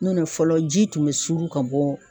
N'o tɛ fɔlɔ ji tun bɛ suru ka bɔ